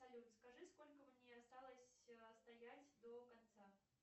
салют скажи сколько мне осталось стоять до конца